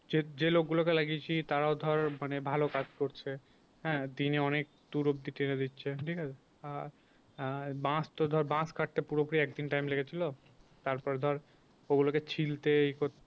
যে, যে লোক গুলোকে লাগিয়েছি তারাও ধর মানে ভালো কাজ করছে হ্যাঁ দিনে অনেক দূর অবধি টেনে দিচ্ছে ঠিক আছে আর বাঁশ তো ধর বাঁশ কাটতে পুরোপুরি একদিন time লেগেছিল। তারপরে ধর ওগুলোকে ছিলতে এ করতে~